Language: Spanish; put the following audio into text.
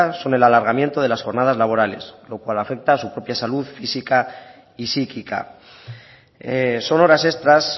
son el alargamiento de las jornadas laborales lo cual afecta a su propia salud física y psíquica son horas extras